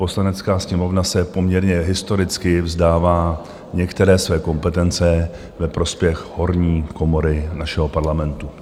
Poslanecká sněmovna se poměrně historicky vzdává některé své kompetence ve prospěch horní komory našeho Parlamentu.